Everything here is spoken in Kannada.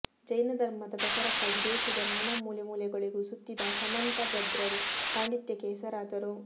ಜೈನಧರ್ಮದ ಪ್ರಚಾರಕ್ಕಾಗಿ ದೇಶದ ನಾನಾ ಮೂಲೆ ಮೂಲೆಗಳಿಗೂ ಸುತ್ತಿದ ಸಮಂತಭದ್ರರು ಪಾಂಡಿತ್ಯಕ್ಕೆ ಹೆಸರಾದರು